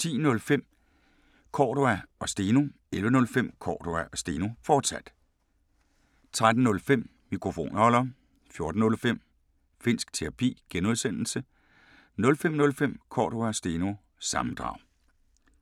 10:05: Cordua & Steno 11:05: Cordua & Steno, fortsat 13:05: Mikrofonholder 14:05: Finnsk Terapi (G) 05:05: Cordua & Steno – sammendrag